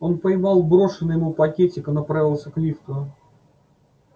он поймал брошенный ему пакетик и направился к лифту